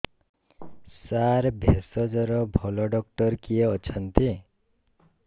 ସାର ଭେଷଜର ଭଲ ଡକ୍ଟର କିଏ ଅଛନ୍ତି